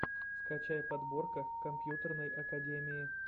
скачай подборка компьютерной академии